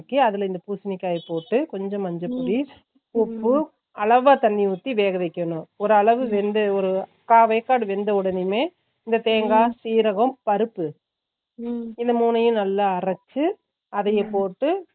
வதக்கி அதுல இந்த பூசணிக்காய்யா போட்டு கொஞ்சோ மஞ்ச போடி உப்பு அளவ தண்ணி உத்தி வெக வெய்க்கணும் ஒரு அளவு வெந்து ஒரு கா வெக்கடு வெந்த உடனேனுமே இந்த தேங்கா சீரகம் பருப்பு இந்த மூனையும் நல்ல அரைச்சு அதைய போட்டு ஒரு கொதி வந்த